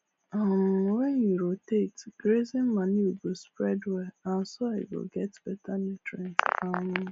um when you rotate grazing manure go spread well and soil go get better nutrient um